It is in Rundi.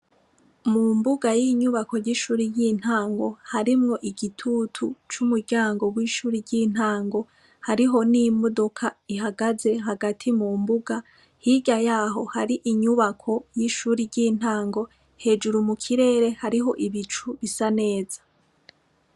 Mu mbuga y'inyubako ry'ishuri y'intango harimwo igitutu c'umuryango w'ishuri ry'intango hariho n'imodoka ihagaze hagati mu mbuga hirya yaho hari inyubako y'ishuri ry'intango hejuru mu kirere hariho ibicu bisa neza.